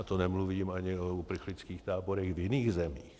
A to nemluvím ani o uprchlických táborech v jiných zemích.